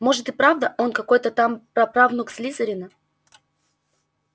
может и правда он какой-то там прапраправнук слизерина